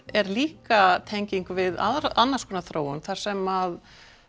er líka tenging við annars konar þróun þar sem